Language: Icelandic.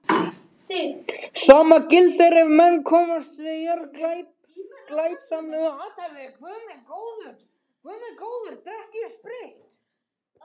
Sama gildir ef menn komast yfir jörð með glæpsamlegu athæfi.